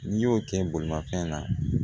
N'i y'o kɛ bolimafɛn na